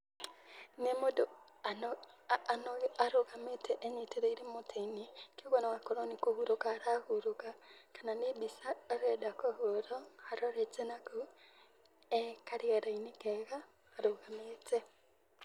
Nĩ mũndũ arũgamĩte enyitĩrĩire mũtĩ-inĩ, kwoguo no akorwo nĩ kũhurũka arahurũka kana nĩ mbica arenda kũhũrwo arorete na kũu,e karĩera-inĩ kega arũgamĩte.